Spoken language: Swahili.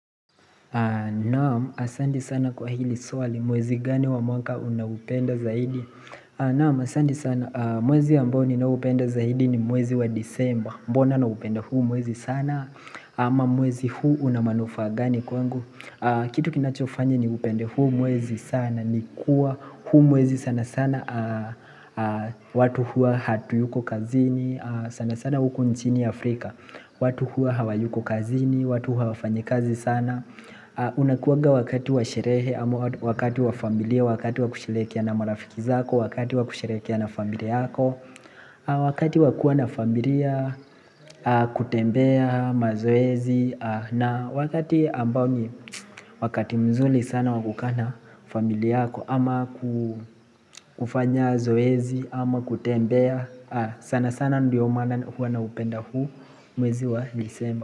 Naam, asanti sana kwa hili swali, mwezi gani wa mwaka unaupenda zaidi Naam, asanti sana. Mwezi ambao ninaupenda zaidi ni mwezi wa Disemba. Mbona unaupenda huu mwezi sana, ama mwezi huu una manufa gani kwangu Kitu kinachofanya ni upende huu mwezi sana, ni kuwa huu mwezi sana sana watu huwa hatuyuko kazini sana sana huku nchini Afrika watu huwa hawayuko kazini, watu huwa wafanyi kazi sana, unakuwanga wakati wa sherehe, ama wakati wa familia, wakati wa kusherekea na marafiki zako, wakati wa kusherekea na familia yako Wakati wa kuwa na familia kutembea, mazoezi, na wakati ambao ni wakati mzuri sana wa kukaa na familia yako, ama kufanya zoezi ama kutembea, sana sana ndio maana huwa naupenda huu mwezi wa Desemba.